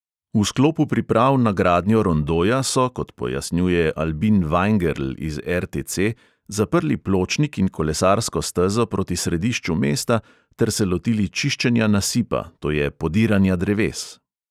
V sklopu priprav na gradnjo rondoja so, kot pojasnjuje albin vajngerl iz RTC, zaprli pločnik in kolesarsko stezo proti središču mesta ter se lotili čiščenja nasipa, to je podiranja dreves.